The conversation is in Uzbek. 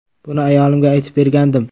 Buni ayolimga aytib bergandim.